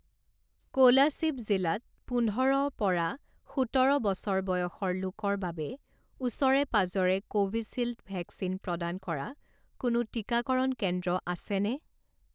কোলাশিব জিলাত পোন্ধৰ পৰা সোতৰ বছৰ বয়সৰ লোকৰ বাবে ওচৰে পাঁজৰে কোভিছিল্ড ভেকচিন প্ৰদান কৰা কোনো টিকাকৰণ কেন্দ্ৰ আছেনে?